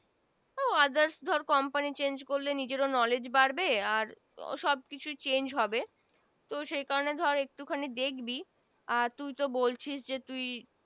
Others ধর Company Changes করলে নিজের ও knowledge বাড়বে আর সব কিছু Changes হবে তো সে কারনে ধর একটু খানি দেখবি আর তুই তো বলছিস যে তুই